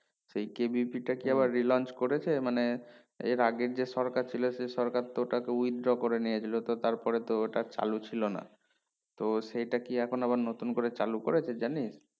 সেই KVP তা কে আবার re launch করেছে মানে এর আগে যে সরকার ছিল সেই সরকার তো ওটাকে withdraw করে নিয়েছিল তো তারপরে তো ওটা চালু ছিল না তো সেটা কি এখন আবার নতুন করে করেছে জানিস?